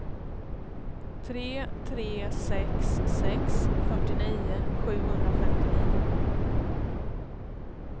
tre tre sex sex fyrtionio sjuhundrafemtionio